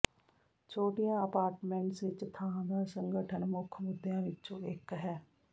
ਛੋਟੀਆਂ ਅਪਾਰਟਮੈਂਟਸ ਵਿਚ ਥਾਂ ਦਾ ਸੰਗਠਨ ਮੁੱਖ ਮੁੱਦਿਆਂ ਵਿਚੋਂ ਇਕ ਹੈ